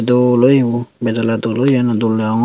dol oye bo bejele dol oye ene dol degongor.